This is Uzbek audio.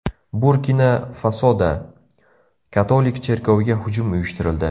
Burkina-Fasoda katolik cherkoviga hujum uyushtirildi.